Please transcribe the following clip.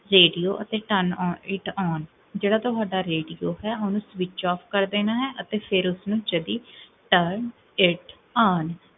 radio ਅਤੇ time it on, ਜੇਹੜਾ ਤੁਹਾਡਾ radio ਹੈ, ਓਨੁ switch off ਕ੍ਰ੍ਦੇਨਾ ਹੈ, ਅਤੇ ਫੇਰ ਉਸਨੂ